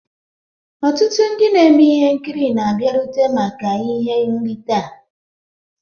Ọtụtụ ndị na-eme ihe nkiri na-abịarute maka ihe nrite a.